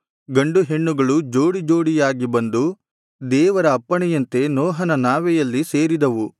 ಗಂಡು ಹೆಣ್ಣುಗಳು ಜೋಡಿ ಜೋಡಿಯಾಗಿ ಬಂದು ದೇವರ ಅಪ್ಪಣೆಯಂತೆ ನೋಹನ ನಾವೆಯಲ್ಲಿ ಸೇರಿದವು